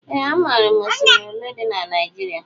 Ee amaara m oshimiri olé dị n' Naijiria.